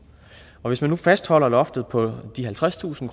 hvis man nu fastholder loftet på de halvtredstusind